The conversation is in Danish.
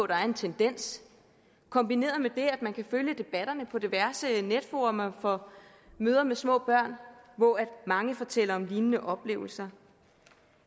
der er en tendens kombineret med det at man kan følge debatterne på diverse netfora for mødre med små børn hvor mange fortæller om lignende oplevelser